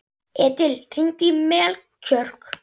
Edil, hringdu í Melkjör.